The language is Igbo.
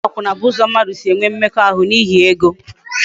Ịgba akwụna bụ ụzọ mmadụ si enwe mmekọahụ n'ihi ego